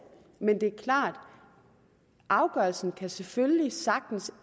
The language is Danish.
men det er klart at afgørelsen selvfølgelig sagtens